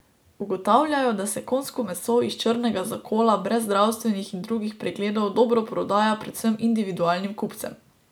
Ugotavljajo, da se konjsko meso iz črnega zakola brez zdravstvenih in drugih pregledov dobro prodaja predvsem individualnim kupcem.